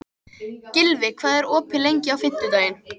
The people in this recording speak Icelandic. Gylfi, hvað er opið lengi á fimmtudaginn?